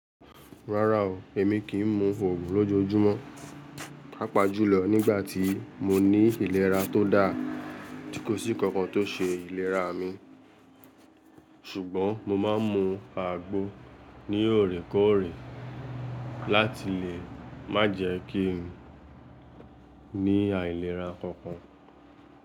Rárá o, èmi kìi mu òògùn lójoojúmọ́, pàápàá jùlọ nígbà tí mo ní ìlera tó dáa, tí kò sí nkankan tó ṣe ìlera mi. Ṣùgbọ́n mo máa ń mu àgbo ní òorèkóòrè láti lè má jẹ́ kí n ní àìlera kankan.